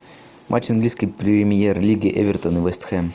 матч английской премьер лиги эвертон и вест хэм